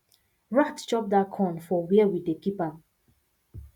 rat chop that corn for where we dey keep am